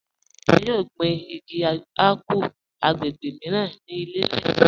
A yọ̀ gbin igi àpù agbègbè míran ni ilẹ̀ láìpẹ̀